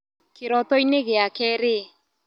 Kĩrotoinĩ gĩake rĩ.